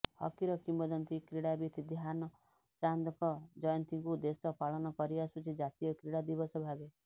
ହକିର କିମ୍ବଦନ୍ତୀ କ୍ରୀଡ଼ାବିତ୍ ଧ୍ୟାନ୍ ଚାନ୍ଦଙ୍କ ଜୟନ୍ତୀକୁ ଦେଶ ପାଳନ କରି ଆସୁଛି ଜାତୀୟ କ୍ରୀଡା ଦିବସ ଭାବେ